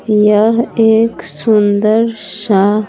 यह एक सुंदर सा--